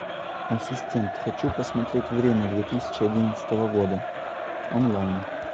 ассистент хочу посмотреть время две тысячи одиннадцатого года онлайн